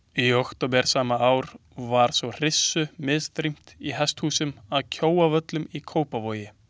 Í október sama ár var svo hryssu misþyrmt í hesthúsum að Kjóavöllum í Kópavogi.